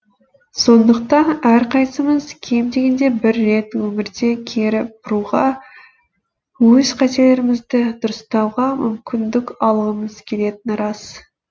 сондықтан әрқайсымыз кем дегенде бір рет өмірді кері бұруға өз қателерімізді дұрыстауға мүмкіндік алғымыз келетіні рас